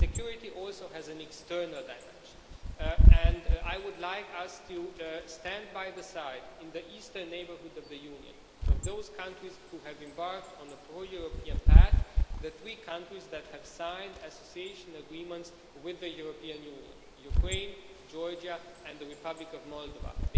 Security also has an external dimension, and I would like us to stand side by side with the eastern neighbourhood of the Union and with those countries which have embarked on a pro European path the three countries that have signed Association Agreements with the European Union Ukraine, Georgia and the Republic of Moldova.